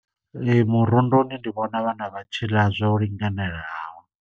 Ee, murundini ndi vhona vhana vha tshi ḽa zwo linganelaho.